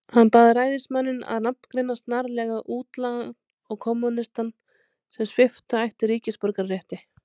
Hann bað ræðismanninn að nafngreina snarlega útlagann og kommúnistann, sem svipta ætti ríkisborgararétti.